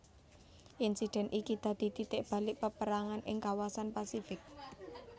Insiden iki dadi titik balik paperangan ing kawasan Pasifik